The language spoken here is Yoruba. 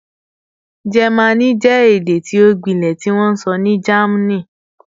Jẹmánì jẹ ede ti o gbilẹ tiwonso ni Germany